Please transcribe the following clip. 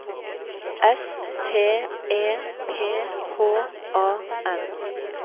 S T E P H A N